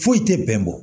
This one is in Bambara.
Foyi tɛ bɛnbɔ